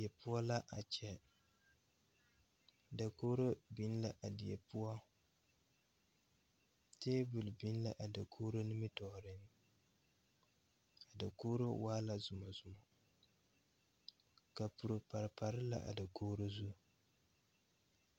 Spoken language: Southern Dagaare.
Die poɔ la a kyɛ dakogro biŋ la a die poɔ tabol biŋ la a dakogro nimitooreŋ dakogro waa la zumɔzumɔ kapuro pare pare la a dakogro zu.